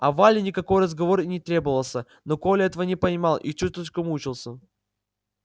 а вале никакой разговор и не требовался но коля этого не понимал и чуточку мучился